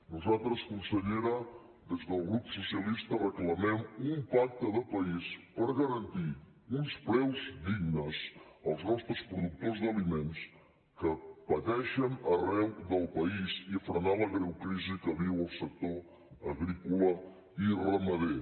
nosaltres consellera des del grup socialista reclamem un pacte de país per garantir uns preus dignes als nostres productors d’aliments que pateixen arreu del país i frenar la greu crisi que viu el sector agrícola i ramader